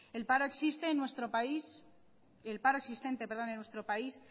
el paro existente en nuestro país